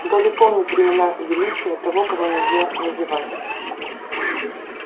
добби помнит времена величия того-кого-нельзя-называть